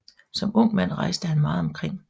Som ung mand rejste han meget omkring